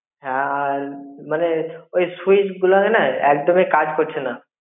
হ্যাঁ আর মানে ওই switch গুলা না একদমই কাজ করছে না.